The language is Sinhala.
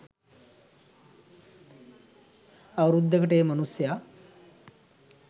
අවුරුද්දකට ඒ මනුස්සයා